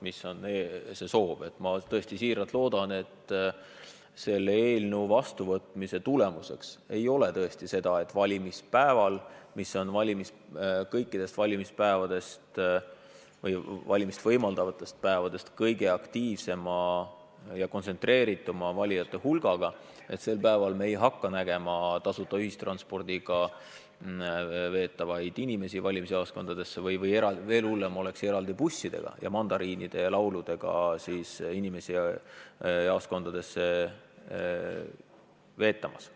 Ma tõesti siiralt loodan, et selle eelnõu vastuvõtmise tagajärjeks ei ole see, et viimasel valimispäeval, mis on kõikidest valimispäevadest või valimist võimaldavatest päevadest kõige aktiivsema osavõtu ja kontsentreerituma valijate hulgaga, ei hakka me nägema inimesi tasuta ühistranspordiga või – mis veel hullem – eraldi bussidega valimisjaoskondadesse veetamas ja neile mandariine jagatamas.